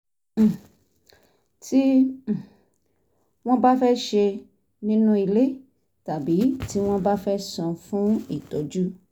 um tí um wọ́n bá fẹ́ ṣe nínú ile tàbí tí wọ́n bá fẹ́ san fún ìtọ́jú